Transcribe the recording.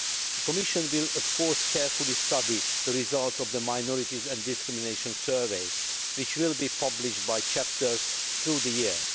The Commission will, of course, carefully study the results of the Minorities and Discrimination Survey, which will be published chapter by chapter through the year.